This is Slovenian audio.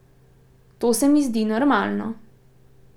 To se mi zdi normalno.